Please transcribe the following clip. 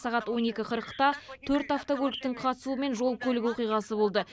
сағат он екі қырықта төрт автокөліктің қатысуымен жол көлік оқиғасы болды